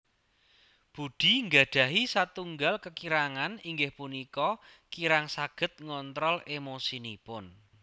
Budi nggadhahi satunggal kekirangan inggih punika kirang saged ngontrol emosinipun